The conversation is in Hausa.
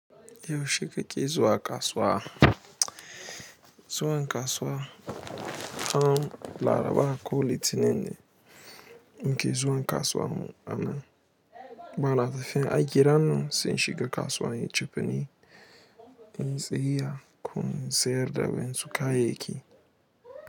Yaushe kake zuwa kasuwa? Zuwa kasuwa, ham laraba ko litininne muke zuwa kasuwan mu bana tafiya. A gidan nan sun shiga kasuwa yin cefene, in yi tsayayya ko in sayar da waƴansu kayayyaki.